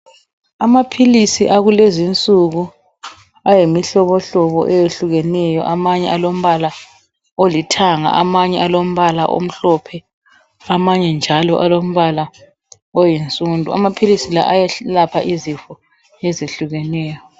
Amaphilisi akulezinsuku ayimihlobohlobo eyehlukeneyo amanye alombala olithanga maybe alombala omhlophe njalo amanye alombala oyinsundu amaphilisi la ayelapha izifo ezehlukeneyo